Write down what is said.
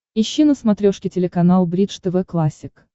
ищи на смотрешке телеканал бридж тв классик